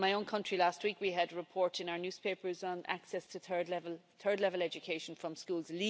In my own country last week, we had a report in our newspapers on access to third level education from schools.